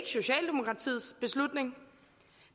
socialdemokratiets beslutning